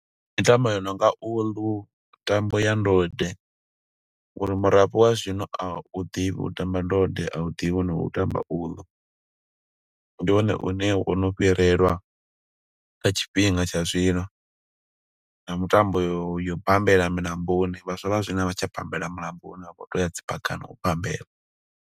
Mitambo ya nonga uḽu, mitambo ya ndode, ngo uri murafho wa zwino a u ḓivhi u tamba ndode. A u ḓivhi no u tamba uḽu. Ndi one une wo no fhirelwa nga tshifhinga tsha zwino, na mutambo yo yo u bambela milamboni. Vhaswa vha zwino vha tsha bammbela mulamboni, vha vho to ya dzi phakhani u bambela.